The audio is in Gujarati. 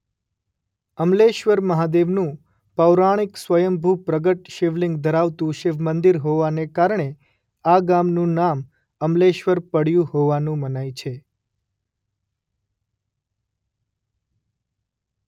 અમલેશ્વર મહાદેવનુ પૌરાણિક સ્વયંભૂ પ્રગટ શિવલિંગ ધરાવતુ શિવમંદિર હોવાને કારણે આ ગામનું નામ અમલેશ્વર પડ્યુ હોવાનું મનાય છે.